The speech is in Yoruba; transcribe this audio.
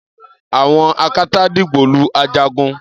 àwọn akátá dìgbòlu Ajagun